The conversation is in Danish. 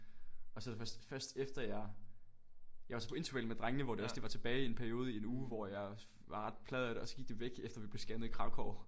Og så det først først efter jeg jeg var så på interrail med drengene hvor det også lige var tilbage i en periode i en uge hvor jeg var ret plaget af det og så gik det væk efter vi blev scannet i Kraków